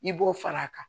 I b'o fara a kan